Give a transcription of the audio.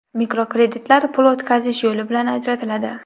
Mikrokreditlar pul o‘tkazish yo‘li bilan ajratiladi.